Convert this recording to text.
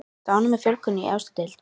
Ertu ánægð með fjölgun í efstu deild?